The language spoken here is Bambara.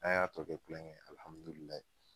An y'a tɔ kɛ kulon kɛ ye alihamudulilahi